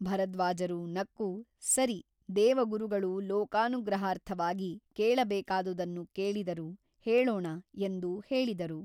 ಭರದ್ವಾಜರು ನಕ್ಕು ಸರಿ ದೇವಗುರುಗಳು ಲೋಕಾನುಗ್ರಹಾರ್ಥವಾಗಿ ಕೇಳಬೇಕಾದುದನ್ನು ಕೇಳಿದರು ಹೇಳೋಣ ಎಂದು ಹೇಳಿದರು.